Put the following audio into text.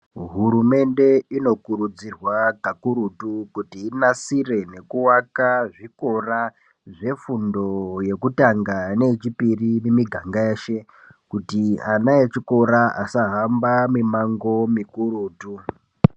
Hurumende inokurudzirwa kakurutu kuti inasire nekuvaka zvikora zvefundo yekutanga neyechipiri mumiganga yeshe kuti ana echikora asahamba mimango mikurutu.